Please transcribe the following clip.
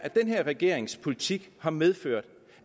her regerings politik har medført